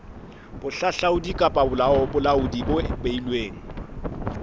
bohahlaudi kapa bolaodi bo beilweng